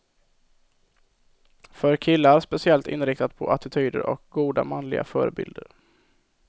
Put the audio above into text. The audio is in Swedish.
För killar speciellt inriktat på attityder och goda manliga förebilder.